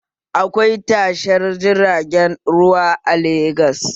Akwai tashar jiragen ruwa a Legas